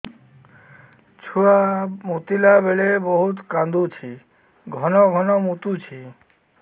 ଛୁଆ ମୁତିଲା ବେଳେ ବହୁତ କାନ୍ଦୁଛି ଘନ ଘନ ମୁତୁଛି